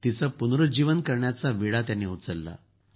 तिचं पुनरूज्जीवन करण्याचा विडा त्यांनी उचलला